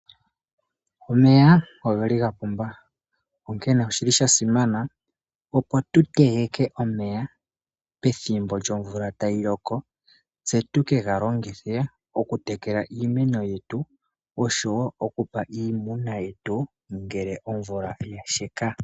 Omeya ogeli ga pumba, onkene oshili sha shimana opo tu tegeke omeya, pethimbo lyomvula tayi loko, tse tukega longithe okutekela iimeno yetu, oshowo okupa iimuna yetu ngele omvula yasheka.